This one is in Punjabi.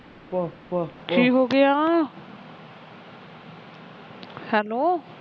ਕੀ ਹੋ ਗਿਆ ਹੈਲੋ।